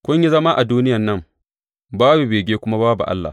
Kun yi zama a duniyan nan babu bege kuma babu Allah.